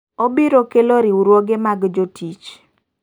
Obiro kelo riwruoge mag jo tich.